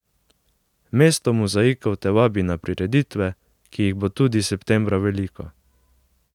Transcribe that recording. Mesto mozaikov te vabi na prireditve, ki jih bo tudi septembra veliko .